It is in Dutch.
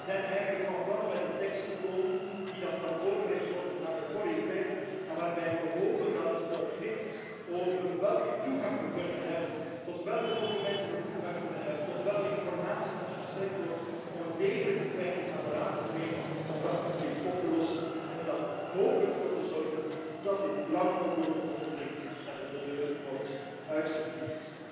Eigenlijk zijn we van plan om met een tekst te komen die dan kan voorgelegd worden aan de Coreper waarbij we hopen dat het conflict over welke toegang we kunnen hebben, tot welke documenten we toegang kunnen hebben, welke informatie ons verstrekt wordt om een degelijke kwijting aan de Raad te verlenen, om dat conflict op te lossen en er dan hopelijk voor te zorgen dat dit lang oplopend conflict de deur wordt uitgeveegd.